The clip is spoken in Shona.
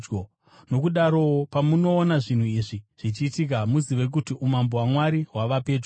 Nokudarowo, pamunoona zvinhu izvi zvichiitika, muzive kuti umambo hwaMwari hwava pedyo.